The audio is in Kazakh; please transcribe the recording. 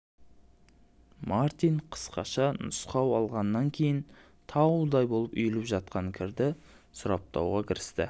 мартин қысқаша нұсқау алғаннан кейін таудай боп үйіліп жатқан кірді сұрыптауға кірісті